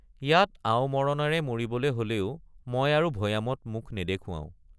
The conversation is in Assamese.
ইয়াতে আও মৰণৰে মৰিবলৈ হলেও মই আৰু ভৈয়ামত মুখ নেদেখুৱাওঁ।